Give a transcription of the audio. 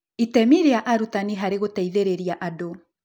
Itemi rĩa arutani harĩ gũteithĩrĩria andũ